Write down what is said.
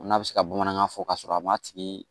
N'a bɛ se ka bamanankan fɔ ka sɔrɔ a ma tigi